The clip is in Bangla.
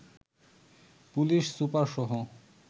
পুলিশ সুপারসহ